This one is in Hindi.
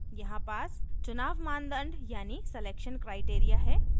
यहाँ pass चुनाव मानदंड यानी selection criteria है